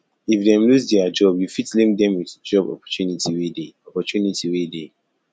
if dem losse their job you fit link them with job opportunity wey dey opportunity wey dey